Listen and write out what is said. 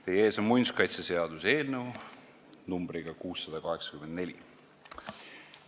Teie ees on muinsuskaitseseaduse eelnõu 684.